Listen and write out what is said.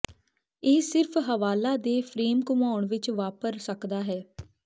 ਇਹ ਸਿਰਫ਼ ਹਵਾਲਾ ਦੇ ਫਰੇਮ ਘੁੰਮਾਉਣ ਵਿੱਚ ਵਾਪਰ ਸਕਦਾ ਹੈ